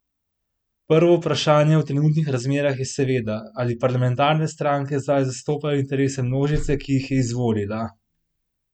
Prvo vprašanje v trenutnih razmerah je seveda, ali parlamentarne stranke zdaj zastopajo interese množice, ki jih je izvolila?